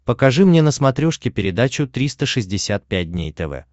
покажи мне на смотрешке передачу триста шестьдесят пять дней тв